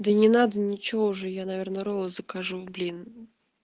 да не надо ничего уже я наверное роллы закажу блин